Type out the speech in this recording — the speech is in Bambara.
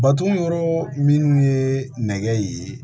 Baton yɔrɔ minnu ye nɛgɛ ye